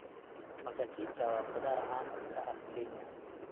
Mkachicha waa khudaar caan ka ah Kenya.